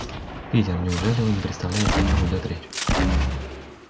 питер неужели вы не представляете о чём идёт речь